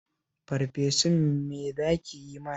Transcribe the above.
Farfesun me za ki yi mana?